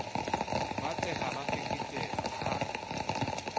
ba tshehang ba keketeka ha